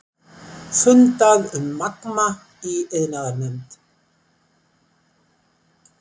Fundað um Magma í iðnaðarnefnd